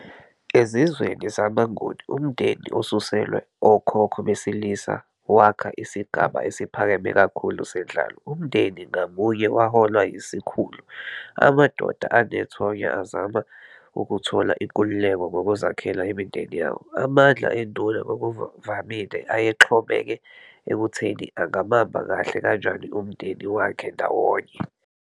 Ezizweni zamaNguni, umndeni, osuselwe okhokho besilisa, wakha isigaba esiphakeme kakhulu senhlalo. Umndeni ngamunye waholwa yisikhulu. Amadoda anethonya azama ukuthola inkululeko ngokuzakhela imindeni yawo. Amandla enduna ngokuvamile ayexhomeke ekutheni angabamba kahle kanjani umndeni wakhe ndawonye.